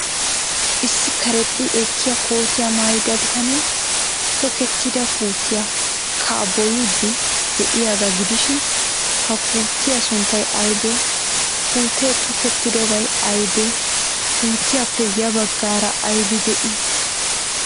Issi karexxi ekkiya kootiyaa maayida bitanee tokettida puutiya kabboyiiddi de'iyaagaa gidishin, ha puutiya sunttay aybee? Puutee tokettidobay aybee? Puutiyaape ya baggaara aybi de'ii?